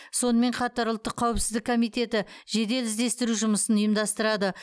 сонымен қатар ұлттық қауіпсіздік комитеті жедел іздестіру жұмысын ұйымдастырады